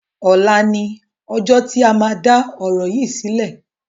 Ọ̀la ni ọjọ́ tí a máa dá ọ̀rọ̀ yìí sílẹ̀